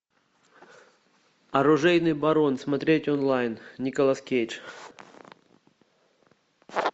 оружейный барон смотреть онлайн николас кейдж